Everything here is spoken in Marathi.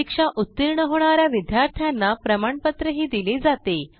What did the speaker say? परीक्षा उत्तीर्ण होणा या विद्यार्थ्यांना प्रमाणपत्रही दिले जाते